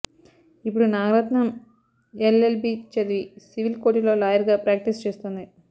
ఇప్పుడు Nagaratnam L L B చదివి civil కోర్టులో లాయర్ గా ప్రాక్టీస్ చేస్తోంది